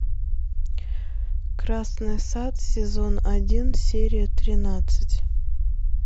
красный сад сезон один серия тринадцать